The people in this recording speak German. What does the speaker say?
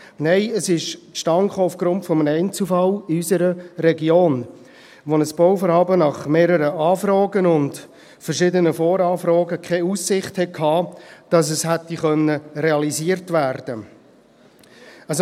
Nein, es kam aufgrund eines Einzelfalls in unserer Region zustande, wo ein Bauvorhaben nach mehreren Anfragen und verschiedenen Voranfragen keine Aussicht hatte, dass es hätte realisiert werden können.